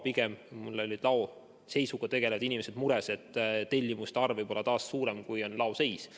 Pigem olid laoseisuga tegelevad inimesed mures, et tellimuste arv võib olla taas suurem, kui on laoseis.